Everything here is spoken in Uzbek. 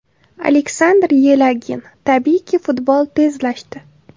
Aleksandr Yelagin: Tabiiyki futbol tezlashdi.